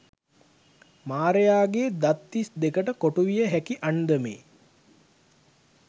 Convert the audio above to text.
මාරයාගේ දත් තිස් දෙකට කොටුවිය හැකි අන්දමේ